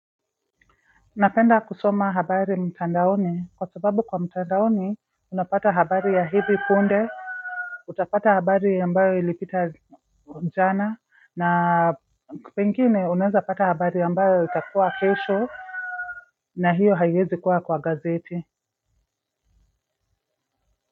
Napenda kusoma habari mtandaoni kwa sababu kwa mtandaoni unapata habari ya hivi punde utapata habari ambayo ilipita jana na pengine unaeza pata habari ambayo itakuwa kesho na hiyo haiezi kuwa kwa gazeti.